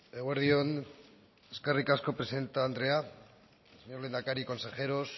eguerdi on eskerrik asko presidente andrea señor lehendakari consejeros